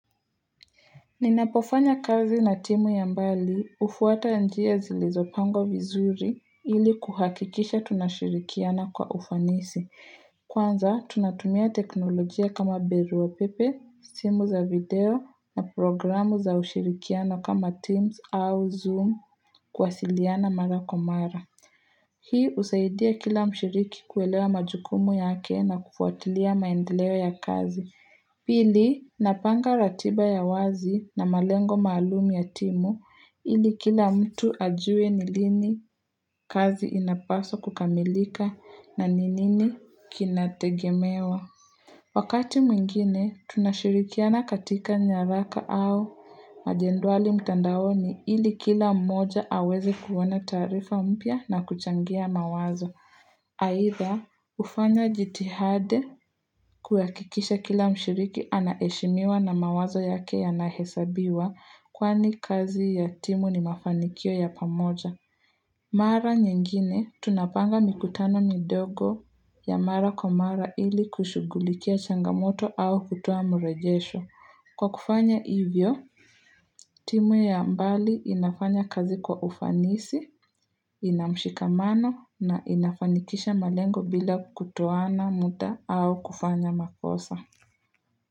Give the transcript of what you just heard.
Ninapofanya kazi na timu ya mbali hufuata njia zilizopangwa vizuri ili kuhakikisha tunashirikiana kwa ufanisi. Kwanza, tunatumia teknolojia kama barua pepe, simu za video na programu za ushirikianao kama Teams au Zoom kuwasiliana mara kwa mara. Hii husaidia kila mshiriki kuelewa majukumu yake na kufuatilia maendeleo ya kazi. Pili, napanga ratiba ya wazi na malengo maalumu ya timu ili kila mtu ajue ni lini kazi inapaswa kukamilika na ni nini kinategemewa. Wakati mwingine, tunashirikiana katika nyaraka au majedwali mtandaoni ili kila mmoja aweze kuona taarifa mpya na kuchangia mawazo. Aidha hufanya jitihada kuhakikisha kila mshiriki anaheshimiwa na mawazo yake yanahesabiwa kwani kazi ya timu ni mafanikio ya pamoja. Mara nyingine tunapanga mikutano midogo ya mara kwa mara ili kushugulikia changamoto au kutoa mrejesho. Kwa kufanya hivyo, timu ya mbali inafanya kazi kwa ufanisi, ina mshikamano na inafanikisha malengo bila kutoana muda au kufanya makosa.